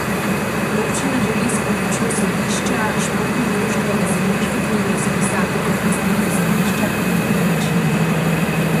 Občina želi s pomočjo sodišča športno društvo iz zemljiške knjige izbrisati kot lastnika zemljišča in nepremičnine.